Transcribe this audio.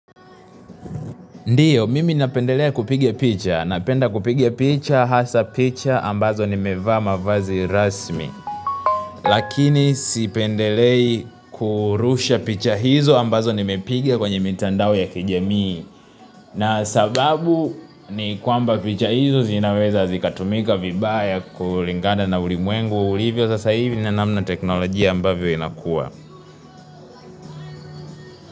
Ndio, mimi napendelea kupigia picha. Napenda kupigia picha, hasa picha, ambazo nimevaa mavazi rasmi. Lakini sipendelei kurusha picha hizo ambazo nimepiga kwenye mitandao ya kijamii na sababu ni kwamba picha hizo zinaweza zikatumika vibaya kulingana na ulimwengu. Ulivyo sasa hivi na nanamna teknolojia ambavyo inakua.